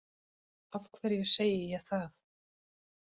Af hverju segi ég það